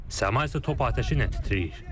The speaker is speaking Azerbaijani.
Səma isə top atəşi ilə titrəyir.